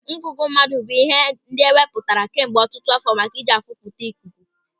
Ńgụ̀gụ̀ mmadụ bụ ịhe ndị e wepụtara kemgbe ọtụtụ àfọ́ maka iji afụpụta ikuku.